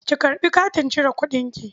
Ki karɓi katin cire kuɗinki.